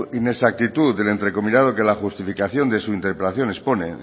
inexactitud del entrecomillado que la justificación de su interpelación expone